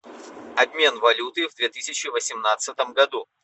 обмен валюты в две тысячи восемнадцатом году